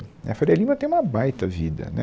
E A Faria Lima tem uma baita vida, né